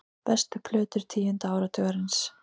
Bestu plötur tíunda áratugarins